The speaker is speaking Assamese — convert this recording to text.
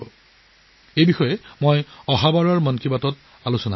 এই বিষয়েও মই 'মন কী বাত'ত আলোচনা কৰিম